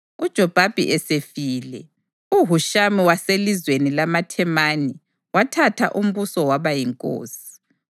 UJobhabhi esefile, uHushamu waselizweni lamaThemani wathatha umbuso waba yinkosi.